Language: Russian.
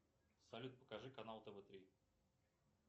салют покажи канал тв три